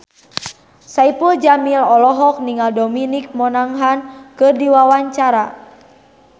Saipul Jamil olohok ningali Dominic Monaghan keur diwawancara